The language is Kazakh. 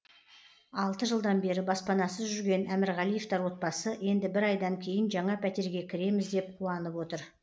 алты жылдан бері баспанасыз жүрген әмірғалиевтер отбасы енді бір айдан кейін жаңа пәтерге кіреміз деп қуанып отыр